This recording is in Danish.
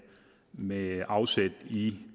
med afsæt i